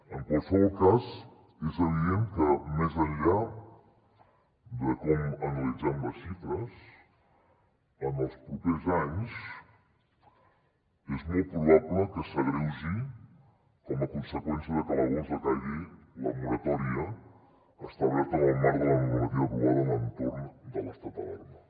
en qualsevol cas és evident que més enllà de com analitzem les xifres en els propers anys és molt probable que s’agreugi com a conseqüència de que a l’agost decaigui la moratòria establerta en el marc de la normativa aprovada a l’entorn de l’estat d’alarma